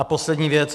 A poslední věc.